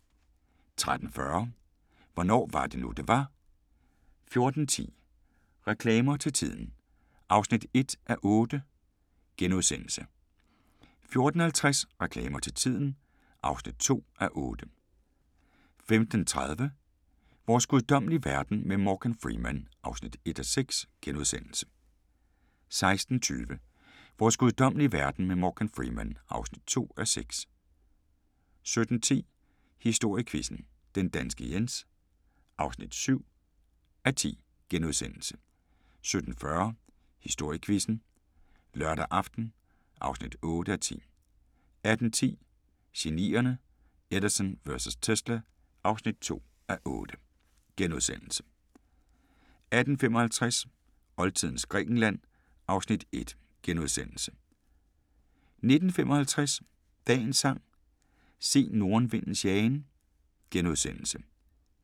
13:40: Hvornår var det nu, det var? 14:10: Reklamer til tiden (1:8)* 14:50: Reklamer til tiden (2:8) 15:30: Vores guddommelige verden med Morgan Freeman (1:6)* 16:20: Vores guddommelige verden med Morgan Freeman (2:6) 17:10: Historiequizzen: Den danske Jens (7:10)* 17:40: Historiequizzen: Lørdag aften (8:10) 18:10: Genierne: Edison vs. Tesla (2:8)* 18:55: Oldtidens Grækenland (Afs. 1)* 19:55: Dagens sang: Se nordenvindens jagen *